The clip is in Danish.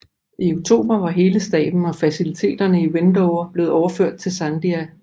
I oktober var hele staben og faciliteterne i Wendover blevet overført til Sandia